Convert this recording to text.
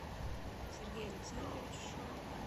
сергей александрович шок